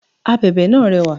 This fan is colourful